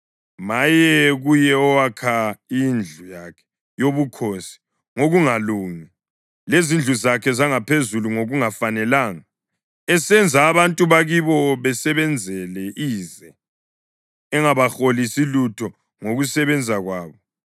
“Maye kuye owakha indlu yakhe yobukhosi ngokungalungi, lezindlu zakhe zangaphezulu ngokungafanelanga, esenza abantu bakibo basebenzele ize, engabaholisi lutho ngokusebenza kwabo.